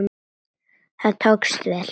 Það tókst vel.